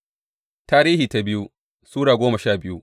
biyu Tarihi Sura goma sha biyu